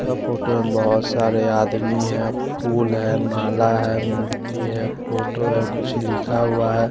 यहाँ फोटो में बोहोत सारे आदमी है फूल है नाला है मूर्ति है फोटो है कुछ लिखा हुआ है।